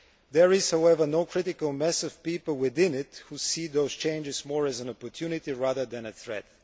it. There is, however, no critical mass of people within it who see those changes more as an opportunity rather than a threat.